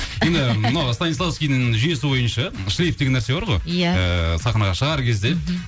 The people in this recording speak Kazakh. енді мынау станиславскийдің жүйесі бойынша шлиф деген нәрсе бар ғой иә ыыы сахнаға шығар кезде